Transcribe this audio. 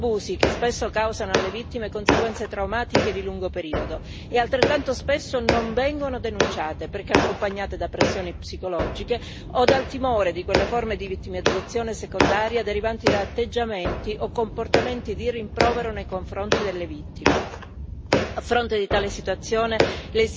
Sono abusi che spesso causano alle vittime conseguenze traumatiche di lungo periodo e, altrettanto spesso, non vengono denunciati perché accompagnati da pressioni psicologiche o dal timore di quelle forme di vittimizzazione secondaria derivanti da atteggiamenti o comportamenti di rimprovero nei confronti delle vittime. A fronte di tale situazione